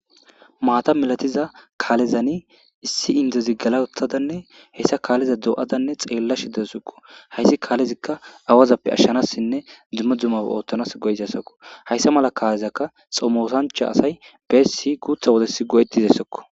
Maata mallatiza kallezan issi inddiezi gella uttadanne hessa kalleza doyada xelashe dawussuko haysi kalezikka awazappe ashanasinne dumma dummaba othanas goizayssako haysa mala kalezaka xommosanchay asay bes guththa wodes go;etizsyssako.